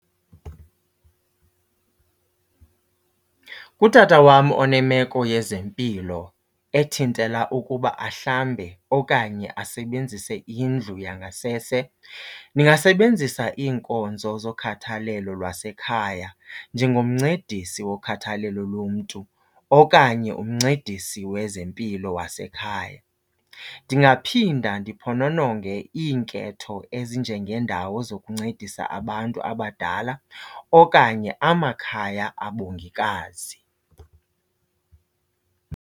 Utata wam onemeko yezempilo ethintela ukuba ahlambe okanye asebenzise indlu yangasese ndingasebenzisa iinkonzo zokhathalelo lwasekhaya njengomncedisi wokhathalelo lomntu okanye umncedisi wezempilo wasekhaya. Ndingaphinda ndiphonononge iinketho ezinjengeendawo zokuncedisa abantu abadala okanye amakhaya abongikazi.